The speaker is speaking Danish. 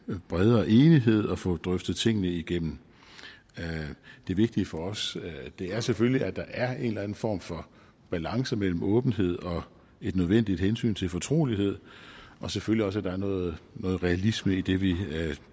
en bredere enighed og få drøftet tingene igennem det vigtige for os er selvfølgelig at der er en eller anden form for balance mellem åbenhed og et nødvendigt af hensyn til fortrolighed og selvfølgelig også at der er noget realisme i det vi